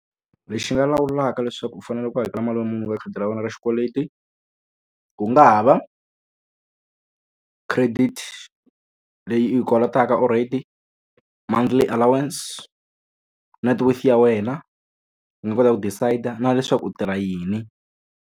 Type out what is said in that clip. Lexi nga lawulaka leswaku u fanele u hakela mali muni eka khadi ra wena ra xikweleti ku nga ha va, credit leyi u yi kolotaka already, monthly allowance, networth ya wena yi nga kota ku decide-a na leswaku u tirha yini.